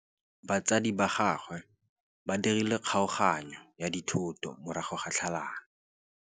Batsadi ba gagwe ba dirile kgaoganyô ya dithoto morago ga tlhalanô.